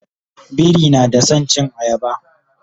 biri na da San cin ayaba